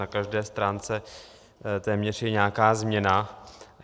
Na každé stránce téměř je nějaká změna.